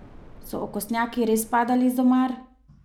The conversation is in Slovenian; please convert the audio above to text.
So okostnjaki res padali iz omar?